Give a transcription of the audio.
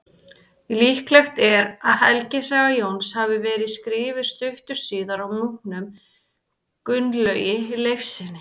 Líklegt er að helgisaga Jóns hafi verið skrifuð stuttu síðar af munknum Gunnlaugi Leifssyni.